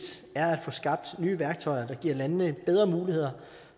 er at få skabt nye værktøjer der giver landene bedre muligheder